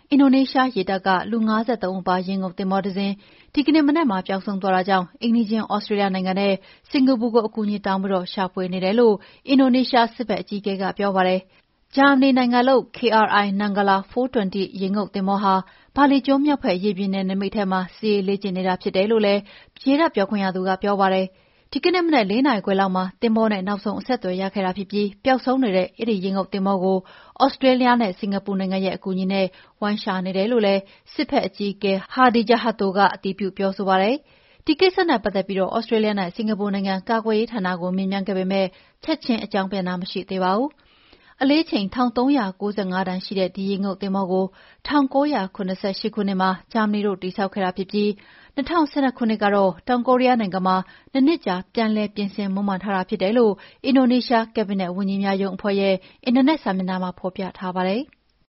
အင်ဒိုနီးရှားရေတပ်က လူ ၅၃ ဦးပါ ရေငုပ်သင်္ဘောတစ်စင်း ဒီကနေ့မနက်မှာပျောက်ဆုံးသွားတာကြောင့် အိမ်နီးချင်း သြစတေးလျနိုင်ငံနဲ့ စင်္ကာပူကို အကူအညီတောင်းပြီး ရှာဖွေနေတယ်လို့ အင်ဒိုနီးရှားစစ်ဖက်အကြီးအကဲက ပြောပါတယ်။ ဂျာမဏီနိုင်ငံလုပ် KRI Nanggala-420 ရေငုပ်သင်္ဘောဟာ ဘာလီကျွန်းမြောက်ဖက်ရေပြင်နယ်နိမိတ်ထဲမှာ စစ်ရေးလေ့ကျင့်နေတာဖြစ်တယ်လို့လည်း ရေတပ်ပြောခွင့်ရသူက ပြောပါတယ်။ ဒီကနေ့မနက် ၄ နာရီခွဲလောက်မှာ သင်္ဘောနဲ့နောက်ဆုံးအဆက်အသွယ်ရခဲ့ပြီး ပျောက်ဆုံးနေတဲ့ရေငုပ်သင်္ဘောကို သြစတေးလျနဲ့ စင်္ကာပူနိုင်ငံရဲ့အကူအညီနဲ့ဝိုင်းရှာနေတယ်လို့လည်း စစ်ဖက်အကြီးအကဲ Hadi Tjahjanto ကအတည်ပြု ပြောဆိုပါတယ်။ ဒီကိစ္စနဲ့ပတ်သက်ပြီး သြစတေးလျနဲ့ စင်္ကာပူနိုင်ငံ ကာကွယ်ရေးဌာနကို မေးမြန်းခဲ့ပေမယ့် ချက်ချင်းအကြောင်းပြန်တာမရှိသေးပါဘူး။ အလေးချိန် ၁၃၉၅ တန်ရှိတဲ့ ဒီရေငုပ်သဘောကို ၁၉၇၈ ခုနှစ်မှာ ဂျာမန်တို့တည်ဆောက်ခဲ့တာဖြစ်ပြီး ၂၀၁၂ ခုနှစ်က တောင်ကိုရီးယားနိုင်ငံမှာ ၂ နှစ်ကြာ ပြန်လည်ပြင်ဆင်မွမ်းမံထားတာဖြစ်တယ်လို့ အင်ဒိုနီးရှား ကက်ဘိနက်ဝန်ကြီးများရုံးအဖွဲ့ရဲ့အင်တာနက်စာမျက်နှာမျာ ဖော်ပြထားပါတယ်။